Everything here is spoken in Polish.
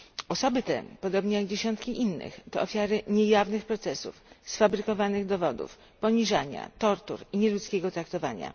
Osoby te, podobnie jak dziesiątki innych, to ofiary niejawnych procesów, sfabrykowanych dowodów, poniżania, tortur i nieludzkiego traktowania.